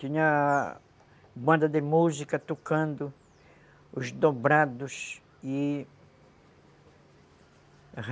Tinha banda de música tocando os dobrados e